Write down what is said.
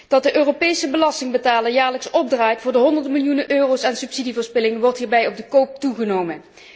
Dat de Europese belastingbetaler jaarlijks opdraait voor de honderden miljoenen euro aan subsidieverspilling wordt hierbij op de koop toe genomen.